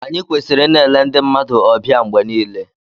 Anyị kwesịrị ịna-ele ndị mmadụ ọbịa mgbe niile